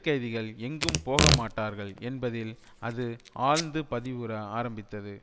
கைதிகள் எங்கும் போகமாட்டார்கள் என்பதில் அது ஆழ்ந்து பதிவுற ஆரம்பித்தது